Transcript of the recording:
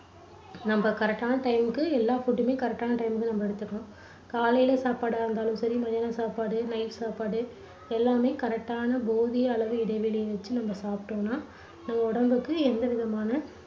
நம்ப correct டான time க்கு எல்லா food உமே correct டான time க்கு நம்ப எடுத்துக்கணும். காலையில சாப்பாடா இருந்தாலும் சரி, மத்தியான சாப்பாடு night சாப்பாடு எல்லாமே correct டான போதிய அளவு இடைவெளியி வெச்சு நம்ப சாப்பிட்டோம்னா நம்ம உடம்புக்கு எந்தவிதமான